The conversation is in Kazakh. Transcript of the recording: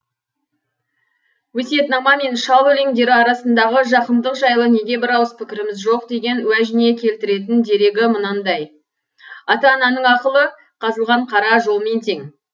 өсиетнама мен шал өлеңдері арасындағы жақындық жайлы неге бір ауыз пікіріміз жоқ деген уәжіне келтіретін дерегі мынандай ата ананың ақылы қазылған қара жолмен тең